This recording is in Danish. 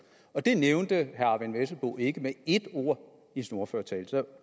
og det nævnte herre eyvind vesselbo ikke med ét ord i sin ordførertale